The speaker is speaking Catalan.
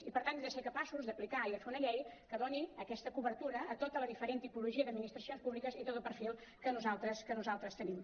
i per tant hem de ser capaços d’aplicar i de fer una llei que doni aquesta cobertura a tota la diferent tipologia d’administracions públiques i a tot el perfil que nosaltres tenim